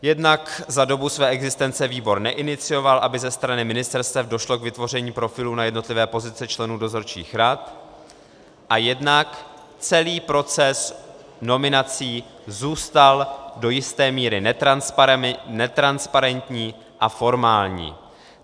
Jednak za dobu své existence výbor neinicioval, aby ze strany ministerstev došlo k vytvoření profilů na jednotlivé pozice členů dozorčích rad, a jednak celý proces nominací zůstal do jisté míry netransparentní a formální.